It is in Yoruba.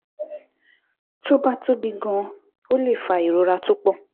Tó bá tóbi gan-an, ó lè fa ìrora tó pọ̀